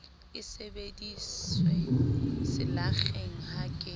e sebediswe selakgeng ha ke